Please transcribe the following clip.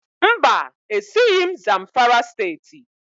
Mba, esighị m Zamfara Steeti